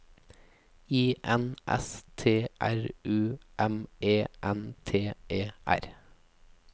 I N S T R U M E N T E R